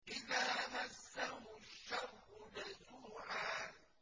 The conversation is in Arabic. إِذَا مَسَّهُ الشَّرُّ جَزُوعًا